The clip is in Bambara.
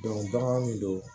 bagan min don